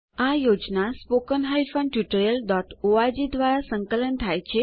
આ project httpspoken tutorialorg દ્વારા સંકલન થાય છે